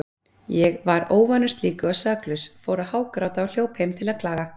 Ég var óvanur slíku og saklaus, fór að hágráta og hljóp heim til að klaga.